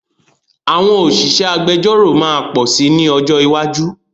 Àwọn òṣìṣẹ́ agbẹjọ́ró máa pọ̀ sí ní ọjọ́ iwájú